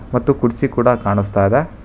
ಮತ್ತು ಕುರ್ಚಿ ಕೂಡ ಕಾಣಿಸ್ತಾ ಇದೆ.